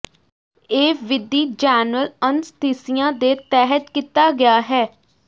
ਇਹ ਵਿਧੀ general anaesthesia ਦੇ ਤਹਿਤ ਕੀਤਾ ਗਿਆ ਹੈ